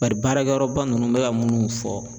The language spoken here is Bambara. Bari baarakɛyɔrɔ ba nunnu n be ka munnu fɔ